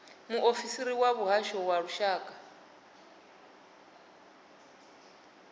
muofisiri wa muhasho wa lushaka